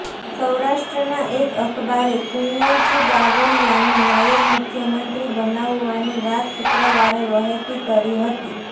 સૌરાષ્ટ્રનાં એક અખબારે કુંવરજી બાવળીયાને નાયબ મુખ્યમંત્રી બનાવવાની વાત શુક્રવારે વહેતી કરી હતી